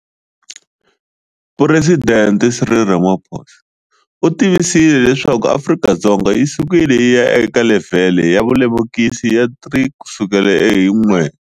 Phuresidente Cyril Ramaphosa u tivisile leswaku Afrika-Dzonga yi sukile yi ya eka levhele ya vulemukisi ya 3 kusukela hi 1.